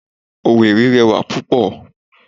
Owerri rẹwà pupo